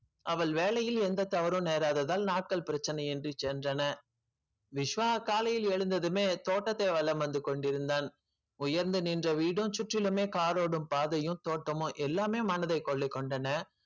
அவள் வேலையில் எந்த தவறும் நேராததால் நாட்கள் பிரச்சனை இன்றி சென்றன விஷ்வா காலையில் எழுந்ததுமே தோட்டத்தை வலம் வந்து கொண்டிருந்தான் உயர்ந்து நின்ற வீடும் சுற்றிலுமே காரோடும் பாதையும் தோட்டமும் எல்லாமே மனதைக் கொள்ளைக் கொண்டன